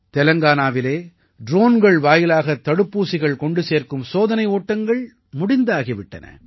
தெலங்கானாவிலே ட்ரோன்கள் வாயிலாகத் தடுப்பூசிகள் கொண்டு சேர்க்கும் சோதனை ஓட்டங்கள் முடிந்தாகி விட்டன